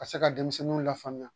Ka se ka denmisɛnninw lafaamuya